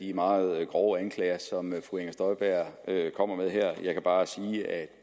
de meget grove anklager som fru inger støjberg kommer med her jeg kan bare sige at